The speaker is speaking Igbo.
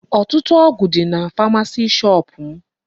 Ọtụtụ ọgụ dị na pharmacy shop m.